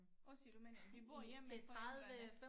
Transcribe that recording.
Og siger du men vi bor hjemme ved forældrene